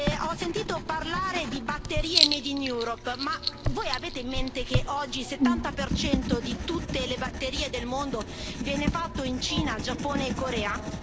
Ho sentito parlare di batterie made in Europe ma voi avete in mente che oggi il 70 di tutte le batterie del mondo viene fatto in Cina, Giappone e Corea?